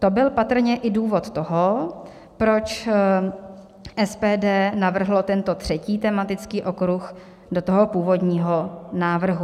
To byl patrně i důvod toho, proč SPD navrhlo tento třetí tematický okruh do toho původního návrhu.